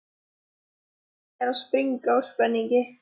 Forsetinn er að springa úr spenningi.